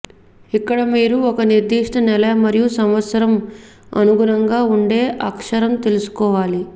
ఇక్కడ మీరు ఒక నిర్దిష్ట నెల మరియు సంవత్సరం అనుగుణంగా ఉండే అక్షరం తెలుసుకోవాలి